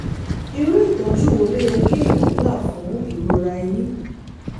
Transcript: irú ìtọ́jú wo ló yẹ kéèyàn gbà fún irora eyín?